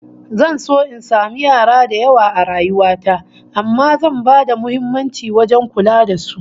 Zan so in samu yara da yawa a rayuwa ta amma zan bada muhimmanci wajen kula da su